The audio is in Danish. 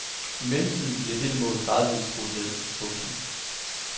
I mellemtiden blev dette mål gradvist skruet ned. punktum